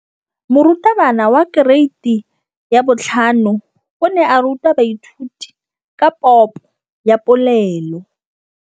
Moratabana wa kereiti ya 5 o ne a ruta baithuti ka popô ya polelô.